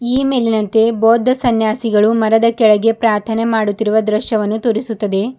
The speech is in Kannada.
ಈ ಮೇಲಿನಂತೆ ಬೌದ್ಧ ಸನ್ಯಾಸಿಗಳು ಮರದ ಕೆಳಗೆ ಪ್ರಾರ್ಥನೆ ಮಾಡುತ್ತಿರುವ ದೃಶ್ಯವನ್ನು ತೋರಿಸುತ್ತದೆ.